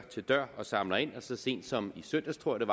til dør og samler ind og så sent som i søndags tror jeg